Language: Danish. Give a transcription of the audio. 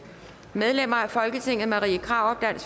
medlemmer af folketinget og marie krarup